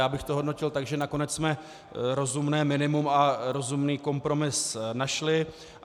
Já bych to hodnotil tak, že nakonec jsme rozumné minimum a rozumný kompromis našli.